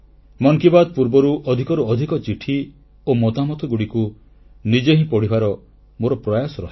ମନ କି ବାତ୍ ପୂର୍ବରୁ ଅଧିକରୁ ଅଧିକ ଚିଠି ଓ ମତାମତଗୁଡ଼ିକୁ ନିଜେ ହିଁ ପଢ଼ିବାର ମୋର ପ୍ରୟାସ ରହେ